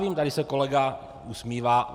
Vím, tady se kolega usmívá.